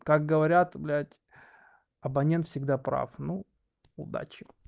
как говорят блядь абонент всегда прав ну удачи